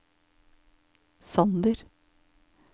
Sander